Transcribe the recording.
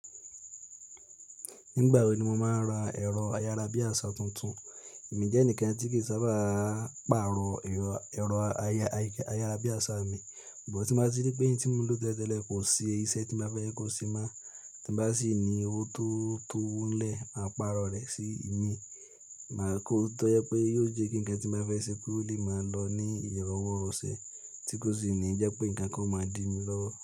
Nígbà wo ni mo máa n ra ẹ̀rọ ayárabíàṣá tuntun? Èmi jẹ́ ẹnìkan tí kì í sábà pàrọ̀ ẹ̀rọ ayárabíàṣá mi, but tí n bá rí wípé n tí mo ń lò tẹ́lẹ̀ tele kò ṣe iṣẹ́ tí mo ba fẹ́ kó ṣe mo, tí bá sì ní owó tó to lẹ̀, màá pàrọ̀ rẹ̀ sí mi, màá kó ọ́wọ́ to jẹ wi pé yóò jẹ́ kí ǹkan tí n ba ṣe ko le máa lọ ní ìrọ̀wọ́ rọṣẹ̀ tí kò sì ní jẹ́ pé ǹkan kan máa dí mi lọ́wọ́.